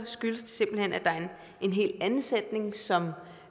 skyldes det simpelt hen at der er en helt anden sætning som